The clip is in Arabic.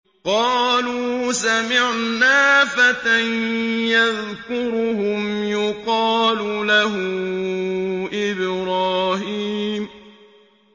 قَالُوا سَمِعْنَا فَتًى يَذْكُرُهُمْ يُقَالُ لَهُ إِبْرَاهِيمُ